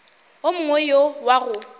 wo mongwe go ya go